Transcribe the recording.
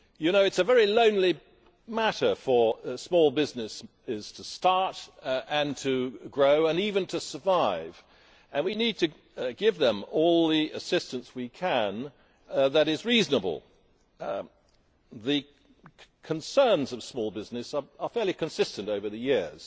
It is a very lonely matter for small businesses to start and to grow and even to survive and we need to give them all the assistance we can that is reasonable. The concerns of small businesses are fairly consistent over the years.